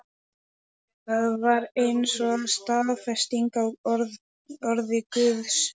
Það var eins og staðfesting á orði Guðs.